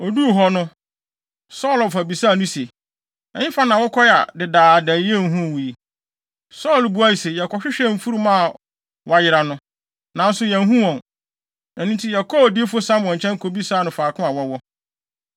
Oduu hɔ no, Saulo wɔfa bisaa no se, “Ɛhefa na wokɔe a dedaada yenhuu wo yi?” Saulo buae se, “Yɛkɔhwehwɛɛ mfurum a wɔayera no, nanso yɛanhu wɔn. Ɛno nti, yɛkɔɔ odiyifo Samuel nkyɛn kobisaa no faako a wɔwɔ.”